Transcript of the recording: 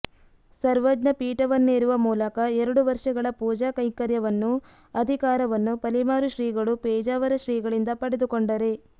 ಸರ್ವಜ್ನ ಪೀಠವನ್ನೇರುವ ಮೂಲಕ ಎರಡು ವರುಷಗಳ ಪೂಜಾ ಕೈಂಕರ್ಯವನ್ನು ಅಧಿಕಾರವನ್ನು ಪಲಿಮಾರು ಶ್ರೀಗಳು ಪೇಜಾವರ ಶ್ರೀಗಳಿಂದ ಪಡೆದುಕೊಂಡರೆ